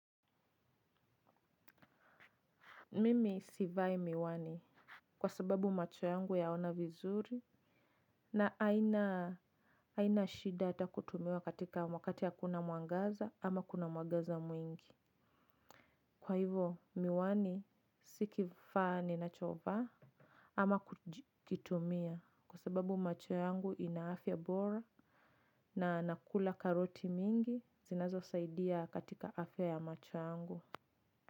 Mimi sivai miwani kwa sababu macho yangu yaona vizuri na haina shida ata kutumia katika, wakati ya hakuna mwangaza ama kuna mwangaza mwingi. Kwa hivo miwani si kifaa ninachovaa ama kutumia kwa sababu macho yangu ina afya bora na nakula karoti mingi zinazo aidia katika afya ya macho yangu.